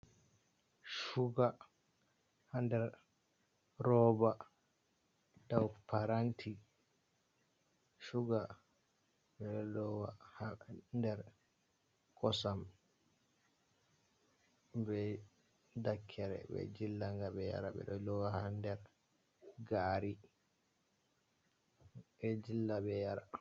Suga ha nder roba dou paranti shuga ɓeɗo lowa ha nder kosam be dakkere ɓe jilla ngabe yara be lowa ha nder gari ɓe jilla be yara.